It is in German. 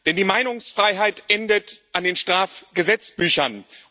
Denn die Meinungsfreiheit endet an den Strafgesetzbüchern.